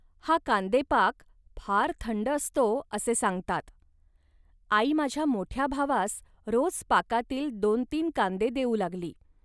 हा कांदेपाक फार थंड असतो, असे सांगतात. आई माझ्या मोठ्या भावास रोज पाकातील दोन तीन कांदे देऊ लागली